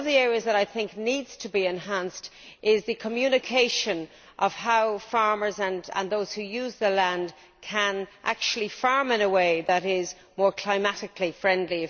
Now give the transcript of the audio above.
One of the areas that I think needs to be enhanced is the communication of how farmers and those who use the land can farm in a way that is more climatically friendly'.